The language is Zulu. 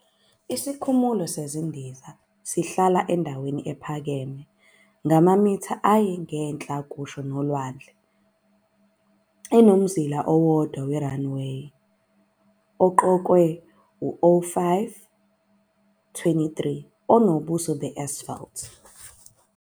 Isikhumulo sezindiza sihlala endaweni ephakeme ngamamitha ayi- ngenhla kusho ulwandle. Inomzila owodwa we- runway oqokelwe u-05, 23 onobuso be-asphalt.